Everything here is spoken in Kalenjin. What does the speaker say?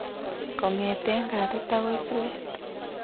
Kongete katit akoi suet